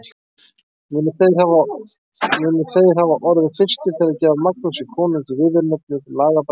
Munu þeir hafa orðið fyrstir til að gefa Magnúsi konungi viðurnefnið lagabætir.